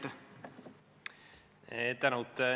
Tänud!